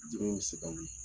Jumɛn bɛ se k'a wuli?